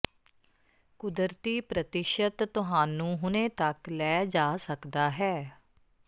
ਕੁਦਰਤੀ ਪ੍ਰਤਿਸ਼ਤ ਤੁਹਾਨੂੰ ਹੁਣੇ ਤੱਕ ਲੈ ਜਾ ਸਕਦਾ ਹੈ